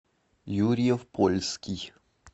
юрьев польский